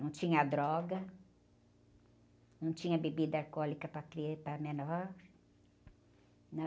Não tinha droga, não tinha bebida alcoólica para, para menor.